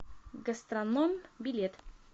гастрономъ билет